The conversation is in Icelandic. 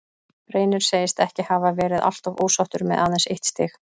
Reynir segist ekki hafa verið alltof ósáttur með aðeins eitt stig.